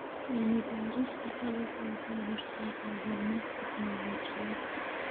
Cilmi-baarista dalaggu waxay horseedaa horumar tignoolajiyadeed.